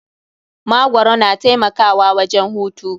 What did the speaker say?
Magwaro na taimakawa wajen hutu.